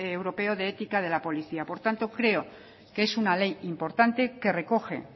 europeo de ética de la policía por tanto creo que es una ley importante que recoge